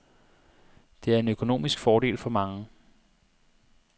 Det er en økonomisk fordel for mange.